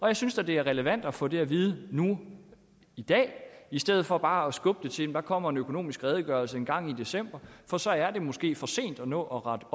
jeg synes da det er relevant at få det at vide nu i dag i stedet for bare skubbe det til der kommer en økonomisk redegørelse engang i december for så er det måske for sent at nå at rette